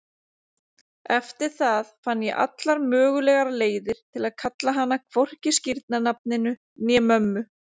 Eftir það fann ég allar mögulegar leiðir til að kalla hana hvorki skírnarnafninu né mömmu.